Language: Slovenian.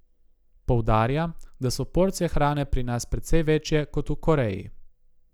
Poudarja, da so porcije hrane pri nas precej večje kot v Koreji.